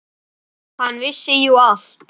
Hann vissi jú allt.